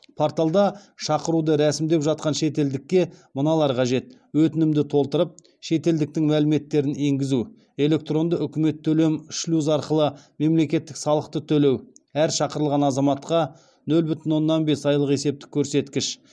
порталда шақыруды рәсімдеп жатқан шетелдікке мыналар қажет өтінімді толтырып шетелдіктің мәліметтерін енгізу электронды үкімет төлем шлюзі арқылы мемлекеттік салықты төлеу